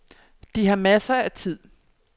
De har masser af tid.